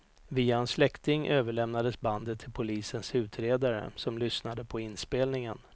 Via en släkting överlämnades bandet till polisens utredare, som lyssnade på inspelningen.